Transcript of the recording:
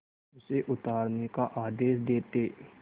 उसे उतारने का आदेश देते